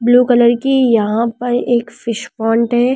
Blue colour की यहां पर एक फिश पॉन्ड है ।